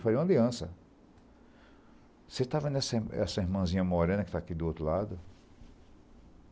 Eu falei, uma Aliança, você está vendo essa essa irmãzinha morena que está aqui do outro lado?